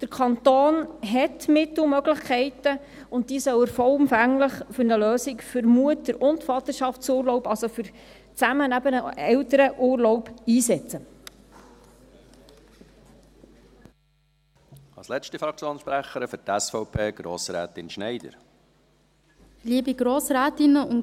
Der Kanton hat Mittel und Möglichkeiten, und diese soll er vollumfänglich für eine Lösung für Mutter- und Vaterschaftsurlaub, also eben für einen gemeinsamen Elternurlaub, einsetzen.